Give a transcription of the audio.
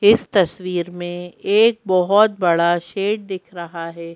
इस तस्वीर में एक बहुत बड़ा शेड दिख रहा है।